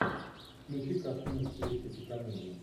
включи картину в стилистике комедии